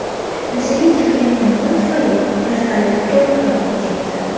Yuzaga kelgan yong‘in tufayli vertolyot to‘liq yonib ketdi.